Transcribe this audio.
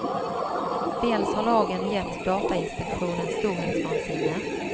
Dels har lagen gett datainspektionen storhetsvansinne.